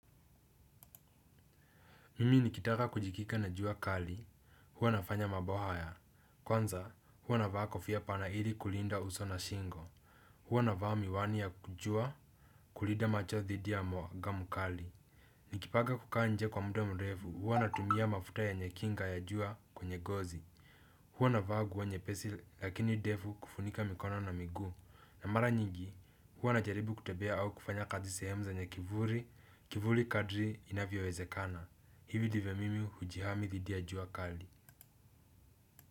Mimi nikitaka kujikinga na jua kali huwa nafanya mambo haya, kwanza huwa navaa kofia pana ili kulinda uso na shingo, huwa navaa miwani ya jua kulinda macho dhidi ya mwanga mkali. Nikipanga kukaa nje kwa muda mrefu huwa natumia mafuta yenye kinga ya jua kwenye ngozi. Huwa navaa nguo nyepesi lakini ndefu kufunika mikono na miguu. Na mara nyingi huwa najaribu kutembea au kufanya kazi sehemu zenye kivuli. Kivuli kadiri inavyowezekana hivi ndivyo mimi hujihami dhidi ya jua kali.